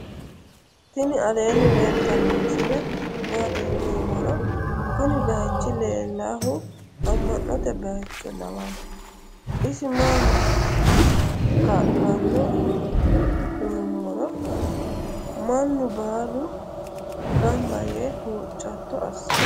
tini alenni leltano misile mati yiinumoro. kuuni bayichu lelahu ama'note bayicho lawano isi maho ka'lano yinumoro manu balu ganba yee hucato asirano.